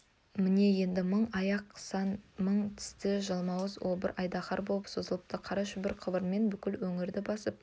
міне енді мың аяқты сан мың тісті жалмауыз обыр айдаһар боп созылыпты қара шүбар қыбырымен бүкіл өңірді басып